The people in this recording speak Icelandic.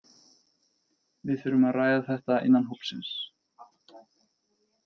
Við þurfum að ræða þetta innan hópsins.